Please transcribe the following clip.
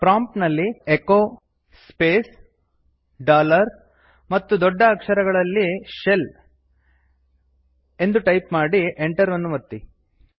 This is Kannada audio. ಪ್ರಾಂಪ್ಟ್ ನಲ್ಲಿ ಎಚೊ ಸ್ಪೇಸ್ ಡಾಲರ್ ಮತ್ತು ದೊಡ್ಡ ಅಕ್ಷರಗಳಲ್ಲಿ ಶೆಲ್ ಎಂದು ಟೈಪ್ ಮಾಡಿ ಎಂಟರ್ ಅನ್ನು ಒತ್ತಿ